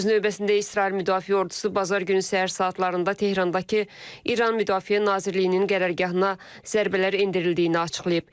Öz növbəsində İsrail Müdafiə Ordusu bazar günü səhər saatlarında Tehrandakı İran Müdafiə Nazirliyinin qərargahına zərbələr endirildiyini açıqlayıb.